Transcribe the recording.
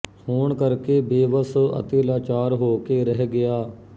ਹੋਣ ਕਰਕੇ ਬੇਵੱਸ ਅਤੇ ਲਾਚਾਰ ਹੋ ਕੇ ਰਹਿ ਗਿਆ